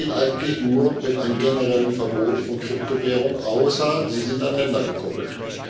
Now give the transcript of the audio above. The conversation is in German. Und das geht eigentlich nur mit einem generellen Verbot von Kryptowährungen, außer sie sind an Länder gekoppelt.